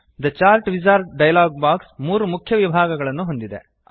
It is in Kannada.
the chart wizard dialog box 3 ಮುಖ್ಯ ವಿಭಾಗಗಳನ್ನು ಹೊಂದಿದೆ